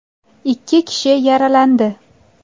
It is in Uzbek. Ikki kishi yaralandi.